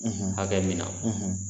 hakɛ min na